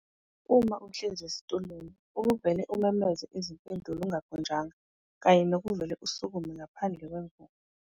uma uhlezi esitulweni ukuvele umemeze izimpendulo ungakhonjwanga kanye nokuvele usukume ngaphandle kwemvume.